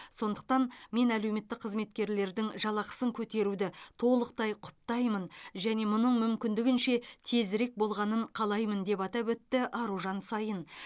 сондықтан мен әлеуметтік қызметкерлердің жалақысын көтеруді толықтай құптаймын және мұның мүмкіндігінше тезірек болғанын қалаймын деп атап өтті аружан саин